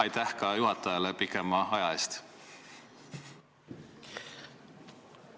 Aitäh ka juhatajale pikema aja eest!